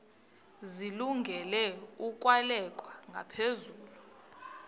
zilungele ukwalekwa ngaphezulu